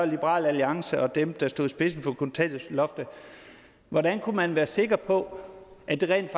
liberal alliance og dem der stod i spidsen for kontanthjælpsloftet hvordan kunne man være sikker på at det rent